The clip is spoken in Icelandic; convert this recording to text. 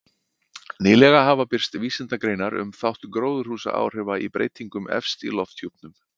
Nýlega hafa birst vísindagreinar um þátt gróðurhúsaáhrifa í breytingum efst í lofthjúpnum.